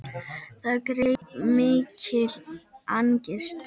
Það greip mikil angist.